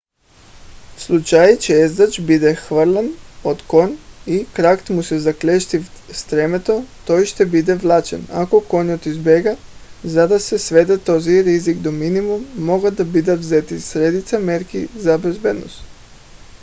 в случай че ездач бъде хвърлен от кон и кракът му се заклещи в стремето той ще бъде влачен ако конят избяга. за да се сведе този риск до минимум могат да бъдат взети редица мерки за безопасност